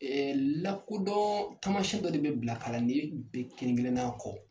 lakodɔn taamasiyɛn dɔ de bɛ bila kalanden bɛɛ kelen-kelenna kɔ.